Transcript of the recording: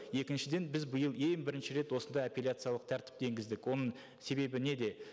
екіншіден біз биыл ең бірінші рет осындай апелляциялық тәртіпті енгіздік оның себебі неде